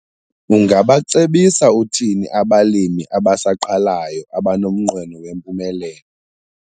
Ungabacebisa uthini abalimi abasaqalayo abanomnqweno wempumelelo?